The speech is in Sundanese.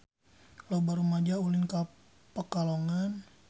Loba rumaja ulin ka Pekalongan